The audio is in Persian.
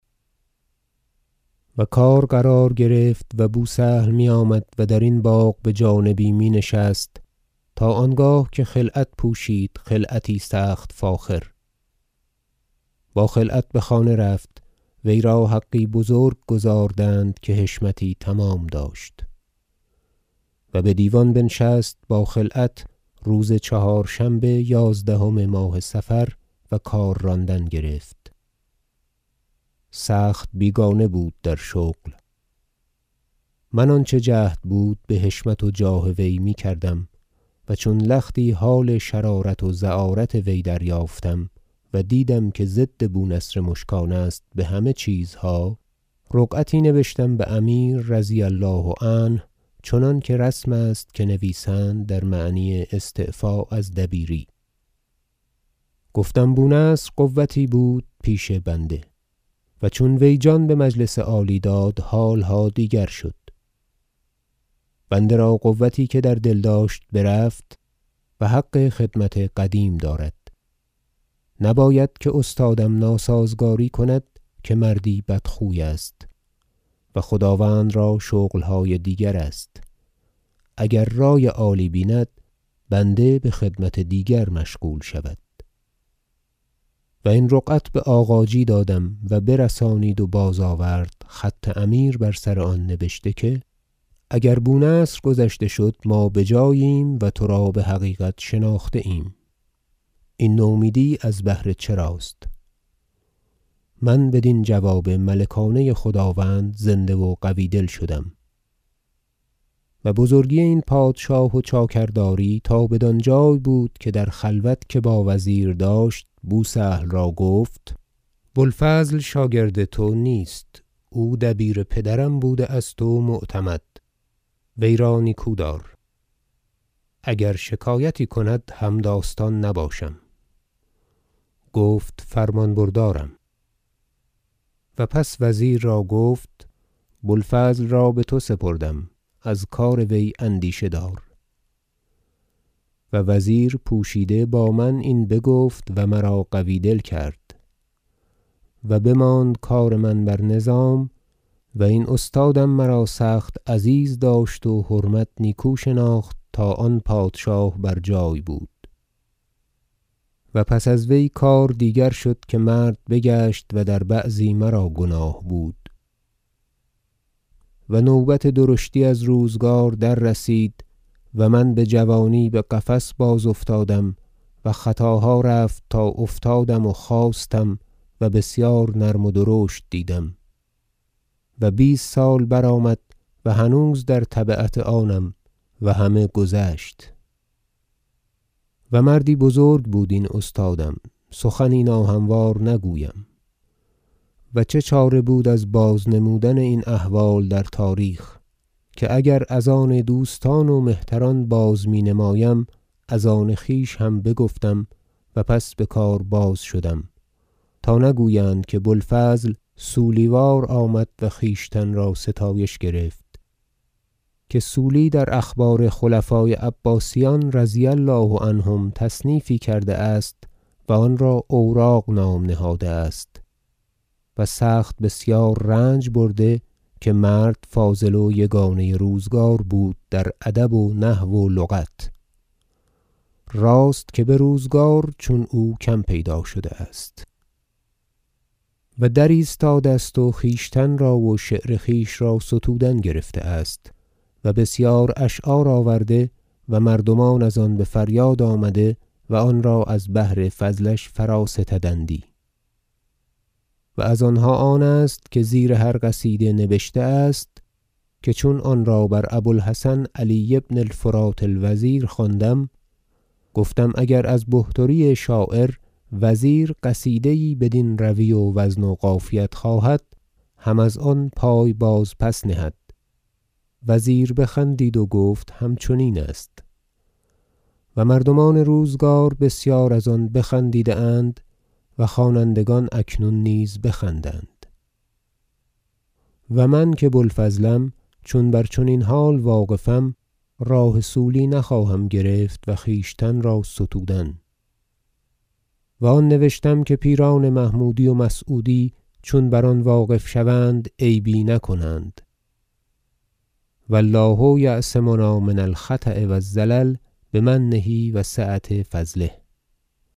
و کار قرار گرفت و بو سهل میآمد و درین باغ بجانبی می نشست تا آنگاه که خلعت پوشید خلعتی فاخر با خلعت بخانه رفت وی را حقی بزرگ گزاردند که حشمتی تمام داشت و بدیوان بنشست با خلعت روز چهارشنبه یازدهم ماه صفر و کار راندن گرفت سخت بیگانه بود در شغل من آنچه جهد بود بحشمت و جاه وی میکردم و چون لختی حال شرارت و زعارت وی دریافتم و دیدم که ضد بو نصر مشکان است بهمه چیزها رقعتی نبشتم بامیر رضی الله عنه چنانکه رسم است که نویسند در معنی استعفا از دبیری گفتم بو نصر قوتی بود پیش بنده و چون وی جان بمجلس عالی داد حالها دیگر شد بنده را قوتی که در دل داشت برفت و حق خدمت قدیم دارد نباید که استادم ناسازگاری کند که مردی بدخوی است و خداوند را شغلهای دیگر است اگر رای عالی بیند بنده بخدمت دیگر مشغول شود و این رقعت بآغاجی دادم و برسانید و باز آورد خط امیر بر سر آن نبشته که اگر بو نصر گذشته شد ما بجاییم و ترا بحقیقت شناخته ایم این نومیدی بهر چراست من بدین جواب ملکانه خداوند زنده و قوی دل شدم و بزرگی این پادشاه و چاکرداری تا بدانجای بود که در خلوت که با وزیر داشت بو سهل را گفت بو الفضل شاگرد تو نیست او دبیر پدرم بوده است و معتمد وی را نیکو دار اگر شکایتی کند همداستان نباشم گفت فرمان بردارم و پس وزیر را گفت بو الفضل را بتو سپردم از کار وی اندیشه دار و وزیر پوشیده با من این بگفت و مرا قوی دل کرد و بماند کار من بر نظام و این استادم مرا سخت عزیز داشت و حرمت نیکو شناخت تا آن پادشاه بر جای بود و پس از وی کار دیگر شد که مرد بگشت و در بعضی مرا گناه بود و نوبت درشتی از روزگار دررسید و من بجوانی بقفص بازافتادم و خطاها رفت تا افتادم و خاستم و بسیار نرم و درشت دیدم و بیست سال برآمد و هنوز در تبعت آنم و همه گذشت و مردی بزرگ بود این استادم سخنی ناهموار نگویم و چه چاره بود از باز نمودن این احوال در تاریخ که اگر از آن دوستان و مهتران باز می نمایم از آن خویش هم بگفتم و پس بکار باز شدم تا نگویند که بو الفضل صولی وار آمد و خویشتن را ستایش گرفت که صولی در اخبار خلفای عباسیان رضی الله عنهم تصنیفی کرده است و آن را اوراق نام نهاده است و سخت بسیار رنج برده که مرد فاضل و یگانه روزگار بود در ادب و نحو و لغت راست که بروزگار چون او کم پیدا شده است و در ایستاده است و خویشتن را و شعر خویش را ستودن گرفته است و بسیار اشعار آورده و مردمان از آن بفریاد آمده و آن را از بهر فضلش فرا ستدندی و از آنها آن است که زیر هر قصیده نبشته است که چون آن را بر ابو الحسن علی بن الفرات الوزیر خواندم گفتم اگر از بحتری شاعر وزیر قصیده یی بدین روی و وزن و قافیت خواهد هم از آن پای بازپس نهد وزیر بخندید و گفت همچنین است و مردمان روزگار بسیار از آن بخندیده اند و خوانندگان اکنون نیز بخندند و من که بو الفضلم چون بر چنین حال واقفم راه صولی نخواهم گرفت و خویشتن را ستودن و آن نوشتم که پیران محمودی و مسعودی چون بر آن واقف شوند عیبی نکنند و الله یعصمنا من الخطا و الزلل بمنه و سعة فضله